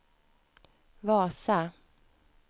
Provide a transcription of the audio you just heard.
Vasa